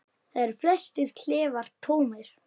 Þar eru flestir klefar tómir.